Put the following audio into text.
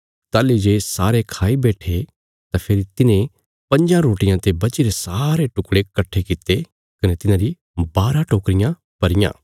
ताहली जे सारे खाई बैट्ठे तां फेरी तिन्हें पंज्जां रोटियां ते बचीरे सारे टुकड़े कट्ठे कित्ते कने तिन्हारी बारा टोकरियां भरियां